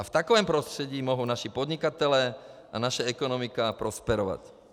A v takovém prostředí mohou naši podnikatelé a naše ekonomika prosperovat.